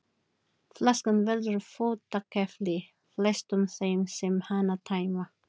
Flaskan verður fótakefli flestum þeim sem hana tæma.